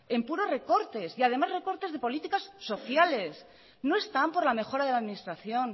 en puros recortes y además en recortes de políticas sociales no están por la mejora de la administración